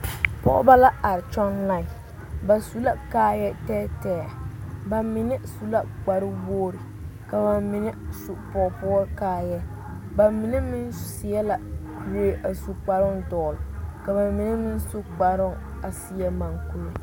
Pɔgebo la are kyɔŋ lae ba su la kaaya tɛɛtɛɛ bamine su la kpare wogre ka bamine su pɔgepoɔ kaaya bamine meŋ seɛ la kuri a su kparo dogle ka bamine meŋ su kparo a seɛ moɔ kuri.